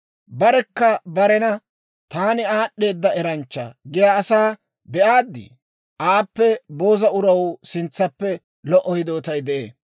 Barekka barena, «Taani aad'd'eeda eranchchaa» giyaa asaa be'aaddi? Aappe booza uraw sintsappe lo"o hidootay de'ee.